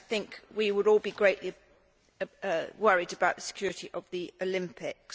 I think we would all be greatly worried about the security of the Olympics.